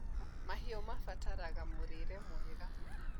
mahiũ marabatara mũrĩre mwega